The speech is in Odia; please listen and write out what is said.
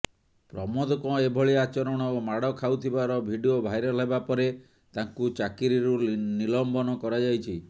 ପ୍ରମୋଦଙ୍କ ଏଭଳି ଆଚରଣ ଓ ମାଡ଼ ଖାଉଥିବାର ଭିଡିଓ ଭାଇରାଲ ହେବାପରେ ତାଙ୍କୁ ଚାକିରିରୁ ନିଲମ୍ବନ କରାଯାଇଛି